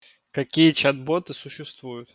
какие чат-боты существуют